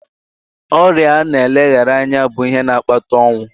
Ọrịa na-eleghara anya bụ ihe na-akpata ọnwụ.